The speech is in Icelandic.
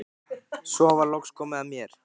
Svo var loks komið að mér.